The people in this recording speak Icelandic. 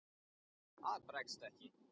Það bregst ekki.